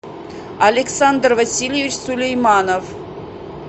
александр васильевич сулейманов